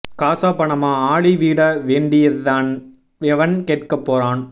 காசா பணமா ஆளி வீட வேடின்யாது தான் எவன் கேட்க போறான்